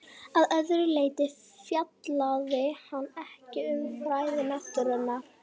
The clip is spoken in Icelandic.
Að öðru leyti fjallaði hann ekki um fræði náttúrunnar.